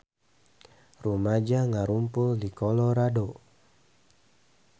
Rumaja ngarumpul di Colorado